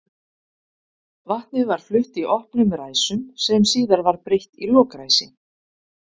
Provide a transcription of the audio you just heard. Vatnið var flutt í opnum ræsum sem síðar var breytt í lokræsi.